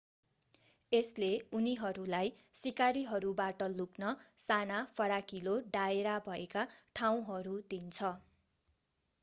यसले उनीहरूलाई शिकारीहरूबाट लुक्न साना फराकिलो दायरा भएका ठाउँहरू दिन्छ